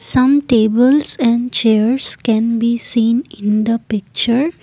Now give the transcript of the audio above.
some tables and chairs can be seen in the picture.